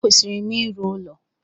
E kwesịrị m ịrụ ụlọ